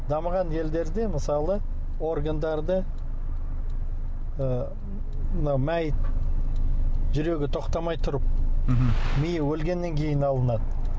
дамыған елдерде мысалы органдарды ы мына мәйіт жүрегі тоқтамай тұрып мхм миы өлгеннен кейін алынады